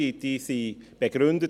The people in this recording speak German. Diese wurden begründet.